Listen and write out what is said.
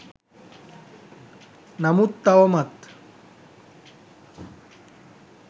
නමුත් තවමත්